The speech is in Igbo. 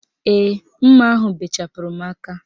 Ee, mma ahụ bechapụrụ m aka